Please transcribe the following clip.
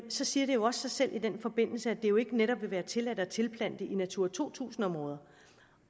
så siger det jo også sig selv at det jo netop ikke vil være tilladt at tilplante i natura to tusind områder